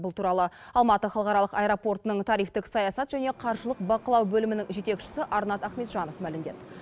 бұл туралы алматы халықаралық аэропортының тарифтік саясат және қаржылық бақылау бөлімінің жетекшісі арнат ахметжанов мәлімдеді